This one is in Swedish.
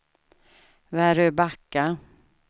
Väröbacka